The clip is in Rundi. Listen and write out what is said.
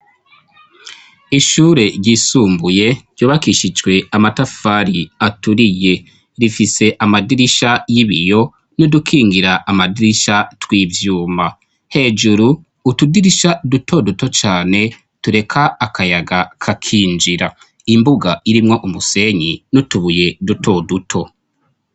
ishure ryisumbuye ryubakishijwe amatafari aturiye rifise amadirisha y'ibiyo n'udukingira amadirisha tw'ibyuma hejuru utudirisha duto duto cyane tureka akayaga kakinjira imbuga irimwo umusenyi n'utubuye duto duto